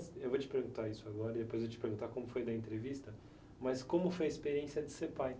Eu vou te perguntar isso agora e depois eu vou te perguntar como foi na entrevista, mas como foi a experiência de ser pai?